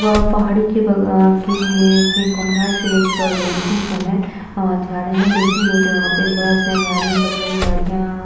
वह पहाड़ी के बग अ के के कॉर्नर से एक अ रोड़ भी तो है और जा रहे हैं। जो की रोज यहाँ पे बस है गाड़ी है बड़ी-बड़ी गाड़ियां--